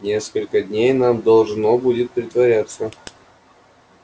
несколько дней нам должно будет притворяться